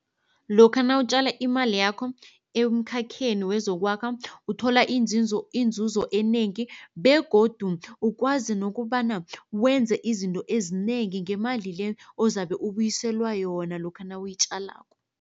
Lokha nawutjala imali yakho emkhakheni wezokwakha uthola inzuzo enengi begodu ukwazi nokobana wenze izinto ezinengi ngemali le ozabe ubuyiselwa yona lokha nawuyitjalako.